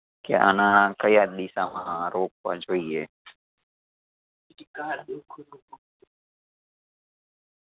કે આ નાણાં કયા દિશામાં રોપવા જોઈએ